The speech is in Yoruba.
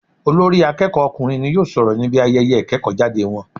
Olórí akéèkó ọkùnrin n yóò sòrò níbi ayeye ìkéèkó jáde won